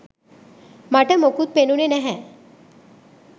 මට මොකුත් පෙනුනේ නැහැ.